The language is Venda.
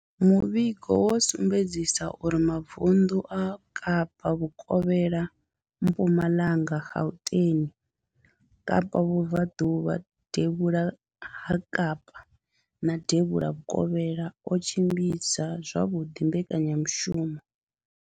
Muvhigo wo sumbedzisa uri mavundu a Kapa vhukovhela, Mpumalanga, Gauteng, Kapa vhubvaḓuvha, devhula ha Kapa na devhula vhukovhela o tshimbidza zwavhuḓi mbekanyamushumo.